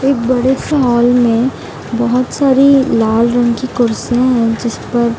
एक बड़े सा हॉल में बहत सारी लाल रंग की कुर्सियां है जिस पर --